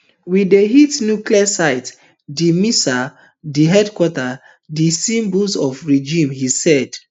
we dey hit nuclear sites di missiles di headquarters di symbols of regime he said